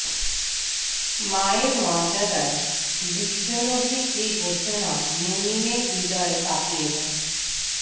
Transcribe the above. মায়ের মর্যাদায় বিশ্বনবির যে ঘোষণা মুমিনের হৃদয় কাঁপিয়ে দেয়